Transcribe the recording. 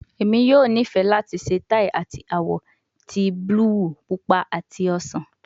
Emi yoo nifẹ lati ṣe tai ati awọ ti buluu, pupa ati osan